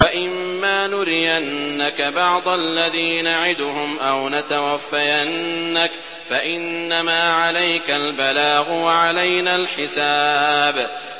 وَإِن مَّا نُرِيَنَّكَ بَعْضَ الَّذِي نَعِدُهُمْ أَوْ نَتَوَفَّيَنَّكَ فَإِنَّمَا عَلَيْكَ الْبَلَاغُ وَعَلَيْنَا الْحِسَابُ